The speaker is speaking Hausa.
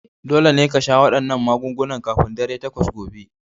Dole ne ka sha wannan magungunan kafin dare takwas gobe!